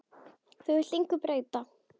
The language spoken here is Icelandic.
Þú vilt engu breyta.